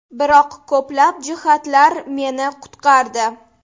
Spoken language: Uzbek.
Biroq ko‘plab jihatlar meni qutqardi.